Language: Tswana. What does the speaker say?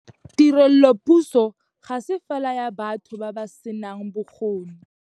Tirelopuso ga se fela ya batho ba ba senang bokgoni.